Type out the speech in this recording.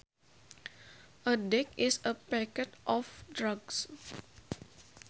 A deck is a packet of drugs